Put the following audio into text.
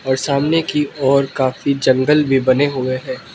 और सामने की ओर काफी जंगल भी बने हुए हैं।